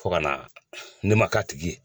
Fo ka na ne man k'a tigi